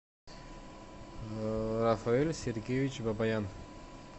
рафаэль сергеевич бабаян